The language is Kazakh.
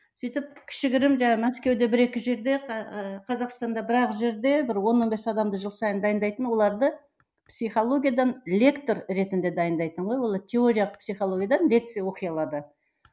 сөйтіп кішігірім жаңа мәскеуде бір екі жерде ы қазақстанда бір ақ жерде бір он он бес адамды жыл сайын дайындайтын оларды психологиядан лектор ретінде дайындайтын ғой олар теориялық психологиядан лекция оқи алады